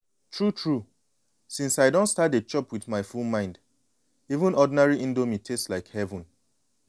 true true. since i don start to dey chop with my full mind even ordinary indomie taste like heaven.